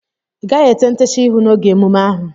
Ịgaghị ete ntecha ihu n'oge emume ahụ!